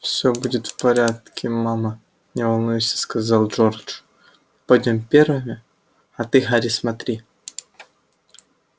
всё будет в порядке мама не волнуйся сказал джордж мы пойдём первыми а ты гарри смотри